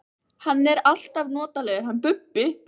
Hann er alltaf notalegur, hann Bubbi!